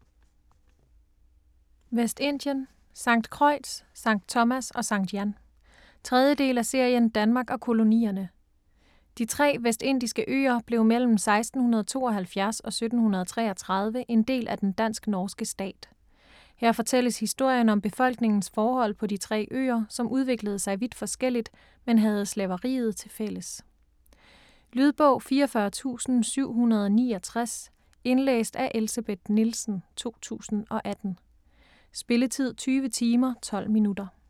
Vestindien: St. Croix, St. Thomas og St. Jan 3. del af serien Danmark og kolonierne. De tre vestindiske øer blev mellem 1672 og 1733 en del af den dansk-norske stat. Her fortælles historien om befolkningens forhold på de tre øer, som udviklede sig vidt forskelligt, men havde slaveriet tilfælles. Lydbog 44769 Indlæst af Elsebeth Nielsen, 2018. Spilletid: 20 timer, 12 minutter.